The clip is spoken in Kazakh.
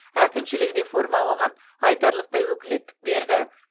әкімшілік реформа оған айтарлықтай өкілеттік берді